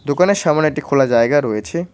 দোকানের সামোনে একটি খোলা জায়গা রয়েছে।